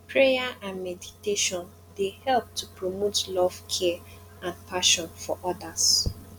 prayer and meditation dey help to promote love care and compassion for odas